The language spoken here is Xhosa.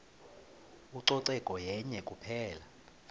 ucoceko yenye kuphela